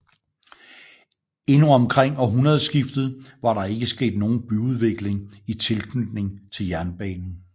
Endnu omkring århundredeskiftet var der ikke sket nogen byudvikling i tilknytning til jernbanen